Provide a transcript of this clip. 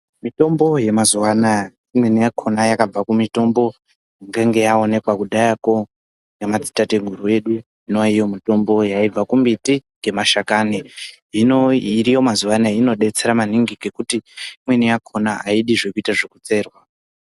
Mitombo yemazuaanaya imweni yakona yakabva kumitombo inenge yawonekwa kudhayako nemadzi tateguru edu, inoyayiwo mitombo yayibva kumiti emashakani. Hino iriyo mazuva anaya inodetsera maningi nekuti imweni yakona haidi kuitwa zvekucherwa.